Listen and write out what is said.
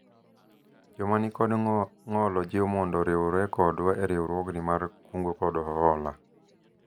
joma nikod ng'ol ojiw mondo oriwre kodwa e riwruogni mar kungo kod hola